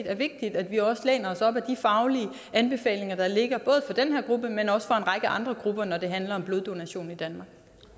er vigtigt at vi også læner os op ad de faglige anbefalinger der ligger både for den her gruppe men også for en række andre grupper når det handler om bloddonation i danmark